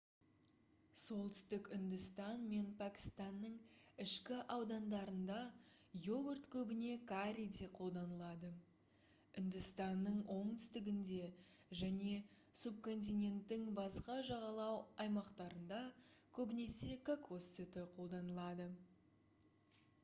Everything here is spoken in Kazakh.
солтүстік үндістан мен пәкістанның ішкі аудандарында йогурт көбіне карриде қолданылады үндістанның оңтүстігінде және субконтиненттің басқа жағалау аймақтарында көбіне кокос сүті қолданылады